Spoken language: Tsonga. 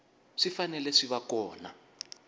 swi fanele swi va kona